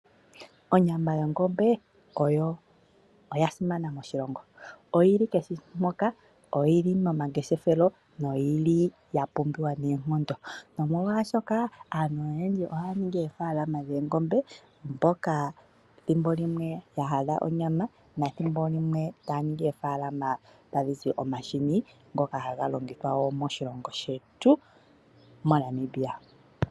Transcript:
Onyama yongombe oyo oyasimana moshilongo, oyili kehe mpoka, oyili momangeshefelo no yili ya pumbiwa noonkondo. Omolwashoka aantu oyendji ohaya ningi oofaalama dhoongombe mboka thimbolimwe ya hala onyama nethimbo limwe taya ningi oofaalama tayi zi omahini ngoka haga longithwa wo moshilongo shetu moNamibia.